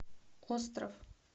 остров